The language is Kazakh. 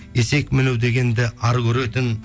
есек міну дегенді ар көретін